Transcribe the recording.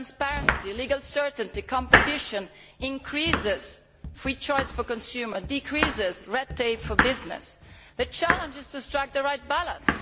Transparency, legal certainty and competition increase free choice for the consumer and decrease red tape for business. The challenge is to strike the right balance.